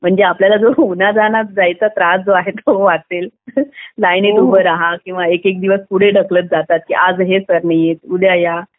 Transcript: म्हणजे आपल्याला जो उन्हातानात जायचा त्रास आहे तो वाचेल लाईनीत उभा रहा किंवा एक एक दिवस पुढे ढकलत जातात की आज हे होत नाहीये उद्या या